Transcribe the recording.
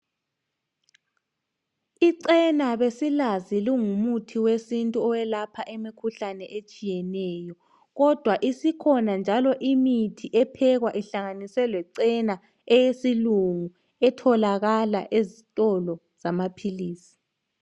Icena besilazi lingumuthi wesintu oyelapha imikhuhlane etshiyeneyo kodwa isikhona njalo imithi ephekwa ihlanganiswe lecena eyesilungu etholakala ezitolo zamaphilisi